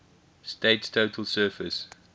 state's total surface